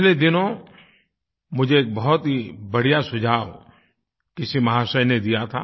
पिछले दिनों मुझे एक बहुत ही बढ़िया सुझाव किसी महाशय ने दिया था